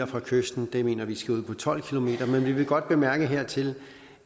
fra kysten vi mener det skal ud til tolv km men vi vil godt bemærke hertil